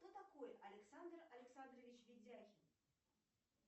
кто такой александр александрович ведяхин